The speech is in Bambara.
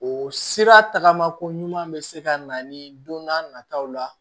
O sira tagama ko ɲuman bɛ se ka na ni don n'a nataw la